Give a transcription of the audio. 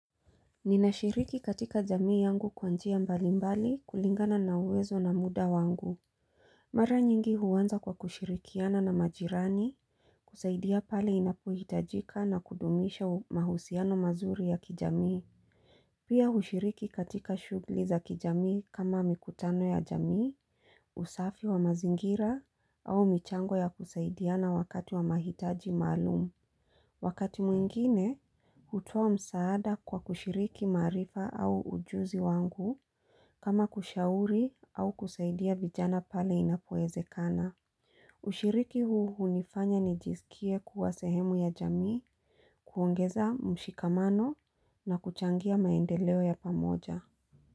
Ninashiriki katika jamii yangu kwa njia mbalimbali kulingana na uwezo na muda wangu Mara nyingi huwanza kwa kushirikiana na majirani kusaidia pali inapohitajika na kudumisha mahusiano mazuri ya kijamii Pia hushiriki katika shughuli za kijamii kama mikutano ya jamii, usafi wa mazingira au michango ya kusaidiana wakati wa mahitaji maalumu Wakati mwingine, utoa msaada kwa kushiriki marifa au ujuzi wangu kama kushauri au kusaidia vijana pale inapoeze kana. Ushiriki huu hunifanya nijisikie kuwa sehemu ya jamii, kuongeza mshikamano na kuchangia maendeleo ya pamoja.